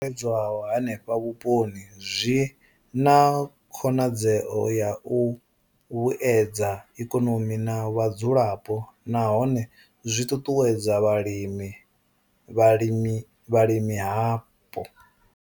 I bveledzwaho henefho vhuponi zwi na khonadzeo ya u vhuedza ikonomi na vhadzulapo nahone zwi ṱuṱuwedza vhulimi hapo.